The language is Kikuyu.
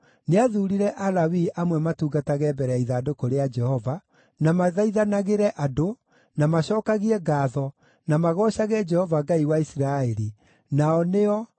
Nĩathuurire Alawii amwe matungatage mbere ya ithandũkũ rĩa Jehova, na mathaithanagĩre andũ, na macookagie ngaatho, na magoocage Jehova, Ngai wa Isiraeli, nao nĩo: